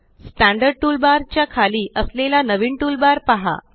standard toolbar च्या खाली असलेला नवीन टूलबार पहा